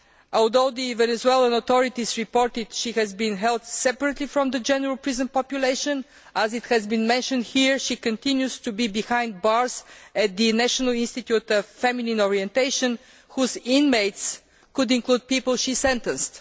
Although the Venezuelan authorities reported that she has been held separately from the general prison population, as has been mentioned here, she continues to be behind bars at the National Institute of Feminine Orientation, whose inmates could include people she sentenced.